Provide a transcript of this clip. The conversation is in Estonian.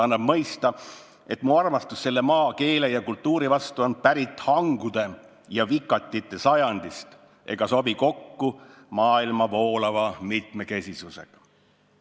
Annab mõista, et mu armastus selle maa, keele ja kultuuri vastu on pärit hangude ja vikatite sajandist ega sobi kokku maailma voolava mitmekesisusega.